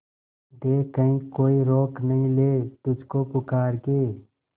देख कहीं कोई रोक नहीं ले तुझको पुकार के